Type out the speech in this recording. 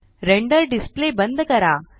render display बंद करा